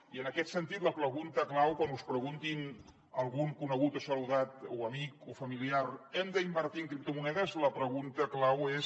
i en aquest sentit la pregunta clau quan us pregunti algun conegut o saludat o amic o familiar hem d’invertir en criptomonedes és